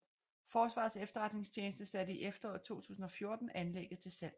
Forsvarets Efterretningstjeneste satte i efteråret 2014 anlægget til salg